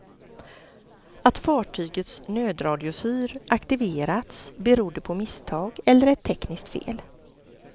Att fartygets nödradiofyr aktiverats berodde på misstag eller ett tekniskt fel.